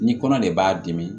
Ni kɔnɔ de b'a dimi